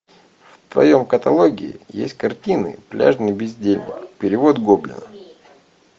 в твоем каталоге есть картина пляжный бездельник перевод гоблина